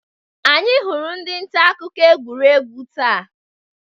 Anyị hụrụ ndị nta akụkọ egwuregwu abụọ taa.